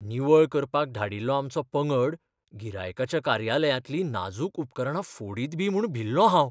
निवळ करपाक धाडिल्लो आमचो पंगड गिरायकाच्या कार्यालयांतलीं नाजूक उपकरणां फोडीतबी म्हूण भिल्लों हांव.